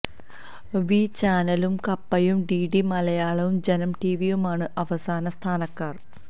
V ചാനലും കപ്പയും DD മലയാളവും ജനം ടിവിയുമാണ് അവസാന സ്ഥാനക്കാർ